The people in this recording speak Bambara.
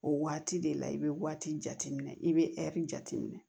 O waati de la i bɛ waati jate minɛ i bɛ ɛri jate minɛ